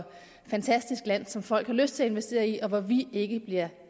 fantastisk land som folk har lyst til at investere i og hvor vi ikke bliver